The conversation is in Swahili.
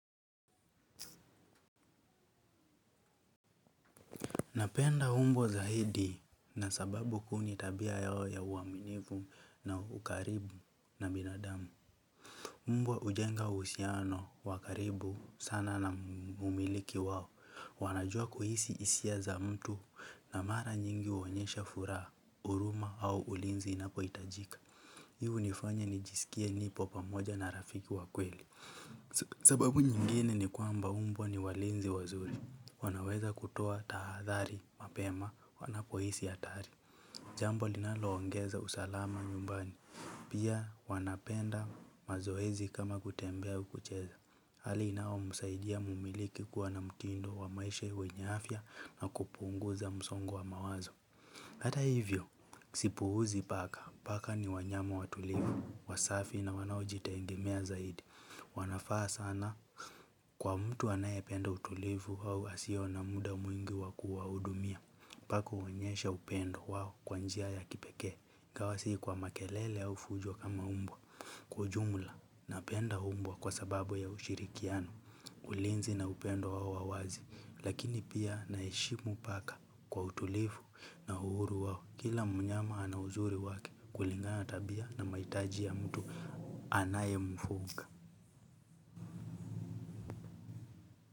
Napenda umbwa za hidi na sababu kuu ni tabia yao ya uaminivu na ukaribu na binadamu mbwa ujenga uhusiano wakaribu sana na umiliki wao. Wanajua kuhisi isia za mtu na mara nyingi uonyesha furaha huruma au ulinzi inapo itajika. Hii u nifanya nijiskie nipo pamoja na rafiki wakweli sababu nyingine ni kwamba umbwa ni walinzi wazuri wanaweza kutoa tahadhari mapema wanapohisi hatari. Jambo linaloongeza usalama nyumbani pia wanapenda mazoezi kama kutembea au kucheza hali inayo msaidia mumiliki kuwa na mtindo wa maisha wenye afya na kupunguza msongo wa mawazo hata hivyo sipuuzi paka paka ni wanyama watulivu wasafi na wanaojitegemea zaidi wanafaa sana kwa mtu anayependa utulivu au asiyo na mda mwingi wa kuwahudumia. Paka uonyesha upendo wao kwanjia ya kipekee. Ingawa si kwa makelele ya vunjo kama mbwa kwaujumla na penda mbwa kwa sababu ya ushirikiano ulinzi na upendo wao wa wazi. Lakini pia naheshimu paka kwa utulivu na uhuru wao kila mnyama anauzuri wake kulingana tabia na mahitaji ya mtu anaye mfuga.